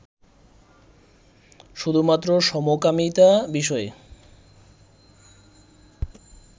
শুধু মাত্র সমকামীতা বিষয়ে